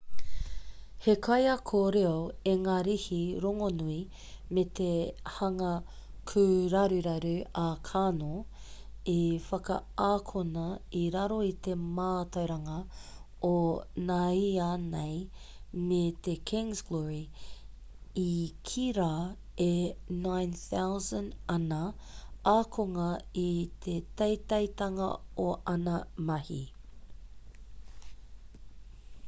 he kaiako reo ingarihi rongonui me te hanga kūraruraru a karno i whakaakona i raro i te mātauranga o nāianei me te king's glory i kī rā e 9,000 ana ākonga i te teiteitanga o āna mahi